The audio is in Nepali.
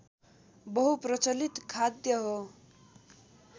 बहुप्रचलित खाद्य हो